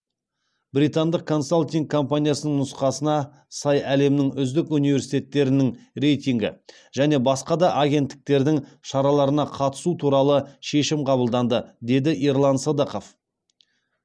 британдық консалтинг компаниясының нұсқасына сай әлемнің үздік университеттерінің рейтингі және басқа да агентіктердің шараларына қатысу туралы шешім қабылданды деді ерлан сыдықов